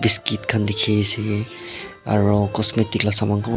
biscuit khan diki asae aro cosmetic laka saman kunba.